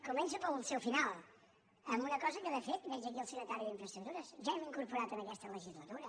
començo pel seu final amb una cosa que de fet veig aquí el secretari d’infraestructures ja hem incorporat en aquesta legislatura